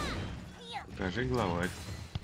покажи главарь